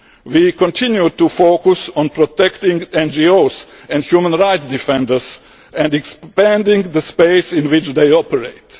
at the heart of our objectives. We continue to focus on protecting NGOs and human rights defenders and expanding